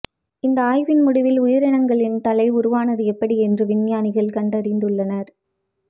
இந்த ஆய்வின் முடிவில் உயிரினங்களின் தலை உருவானது எப்படி என்று விஞ்ஞானிகள் கண்டறிந்துள்ளனர்